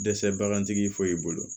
Dɛsɛ bagantigi foyi bolo